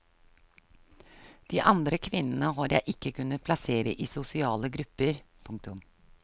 De andre kvinnene har jeg ikke kunnet plassere i sosiale grupper. punktum